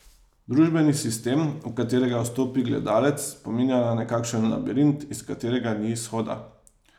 Družbeni sistem, v katerega vstopi gledalec, spominja na nekakšen labirint, iz katerega ni izhoda.